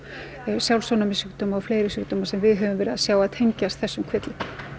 sjálfsofnæmissjúkdóma og fleiri sjúkdóma sem við höfum verið að sjá að tengjast þessum kvillum